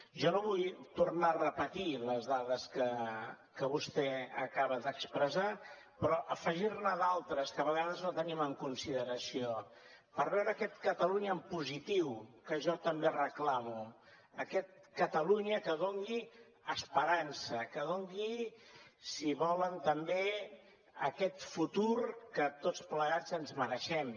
jo no vull tornar a repetir les dades que vostè acaba d’expressar però afegir ne d’altres que a vegades no tenim en consideració per veure aquest catalunya en positiu que jo també reclamo aquest catalunya que doni esperança que doni si volen també aquest futur que tots plegats ens mereixem